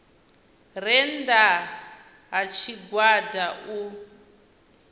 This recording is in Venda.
re nnda ha tshigwada u